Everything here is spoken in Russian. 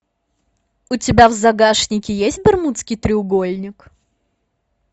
у тебя в загашнике есть бермудский треугольник